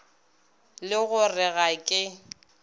le go re ga ke